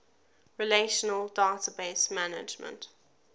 relational database management